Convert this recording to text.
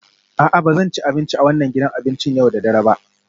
A'a, ba zan ci abinci a wannan gidan abincin yau da dare ba